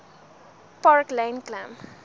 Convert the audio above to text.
park lane klim